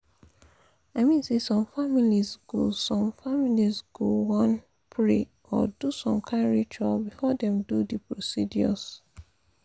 i mean say some families go some families go wan pause pray or do some kain rituals before dem do the procedures.